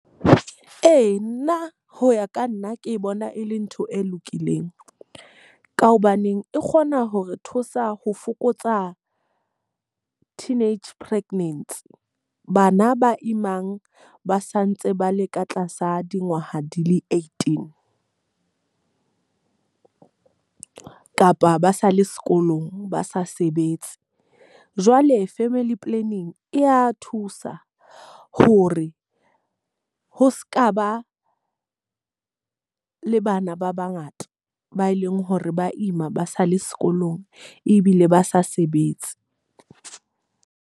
Ee, nna ho ya ka nna ke bona e le ntho e lokileng. Ka hobaneng e kgona hore thusa ho fokotsa teenage pregnancy. Bana ba imang ba sa ntse ba le ka tlasa dingwaha di le eighteen, kapa ba sa le sekolong ba sa sebetse. Jwale family planning e a thusa ho re ho seka ba le bana ba ba ngata ba e leng hore ba ima ba sa le sekolong ebile ba sa sebetse.